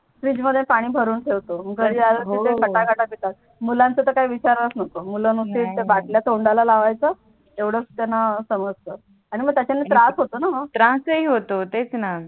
फ्रीजमध्ये पाणी भरून ठेवतो घरी आल तर ते हो हो मुलांच तर काही विचारुच नको मूल नुसते ते आहे हो बाटल्या तोंडाला लावायच येवड त्यांना समजत आणि मग त्याचं त्रास होतोणा त्रासही होतो तेच णा